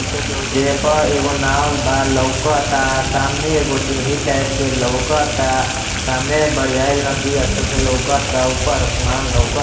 जे पर एगो नाव बा लऊकता सामने एगो सीढ़ी टाइप लऊकता सामने बड़ियाल नदी अच्छे से लऊकता ऊपर आसमान लऊक --